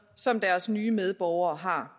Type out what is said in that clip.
som deres nye medborgere har